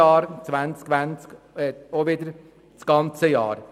Für 2019 und 2020 betrifft der Kreditantrag jeweils das ganze Jahr.